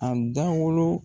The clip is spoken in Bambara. A dawolo.